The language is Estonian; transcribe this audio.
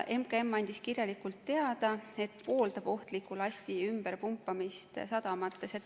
MKM andis kirjalikult teada, et pooldab ohtliku lasti ümberpumpamist sadamates.